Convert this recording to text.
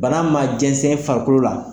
Bana ma jɛnsɛn farikolo la.